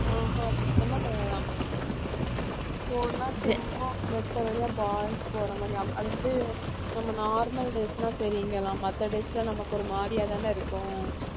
அஹ் ஹம் சுத்தமா கிடையாதாம் போனா சும்மா வெட்டவெளியா boys போற மாதிரி அது அது வந்து நம்ம normal days னா சரி இங்கலாம் மத்த days லாம் நமக்கு ஒரு மாதிரியாதானே இருக்கும்